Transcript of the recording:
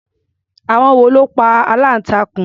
Àwọn wo ló pa aláǹtakùn?